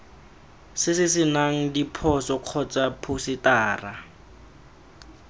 se senang diphoso kgotsa phousetara